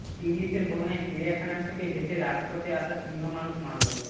টিবলিসের বন্যায় চিড়িয়াখানা থেকে ভেসে রাজপথে আসা সিংহ মানুষ মারল